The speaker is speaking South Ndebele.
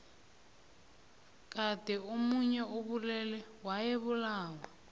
kade omuntu obulele wayebulawa